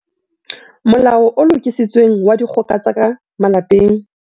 Molao o Lokisitsweng wa Dikgoka tsa ka Malapeng